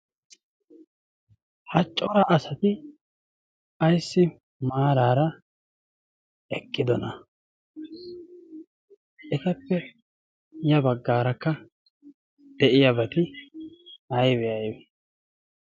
Ha cora asati ayssi maarara eqqidoona? etappe ya baggarakka de'iyaabati aybbe aybbe?